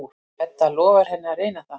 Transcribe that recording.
Edda lofar henni að reyna það.